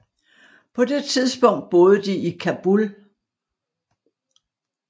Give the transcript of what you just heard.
På det tidspunkt boede de i Kabul